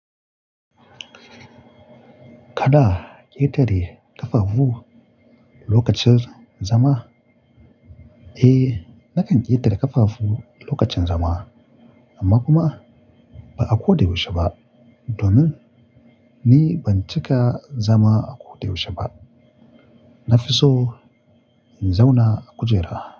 Kada ƙetare ƙafafu lokacin zama? Eh, nakan ƙetare ƙafafu lokacin zama amma kuma ba a ko da yaushe ba domin ni ban cika zama a ko da yaushe ba. Nafiso in zauna a kujera.